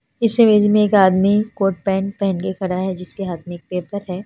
इस रेंज में एक आदमी कोट पैंट पहेन के खड़ा है जिसके हाथ में एक पेपर है।